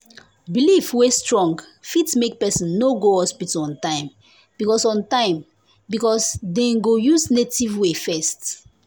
belief wey strong fit make person no go hospital on time because on time because dem go use native way first.